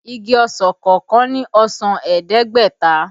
Igi ọsàn kọọkan ní ọsàn ẹ̀ẹ́dẹ́gbẹ̀ta